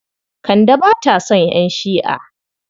Kande ba ta son ƴan Shi'a.